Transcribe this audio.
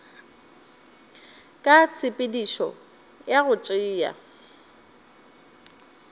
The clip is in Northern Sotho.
ka tshepedišo ya go tšea